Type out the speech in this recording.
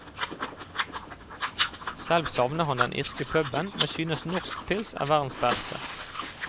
Selv savner han den irske puben, men synes norsk pils er verdens beste.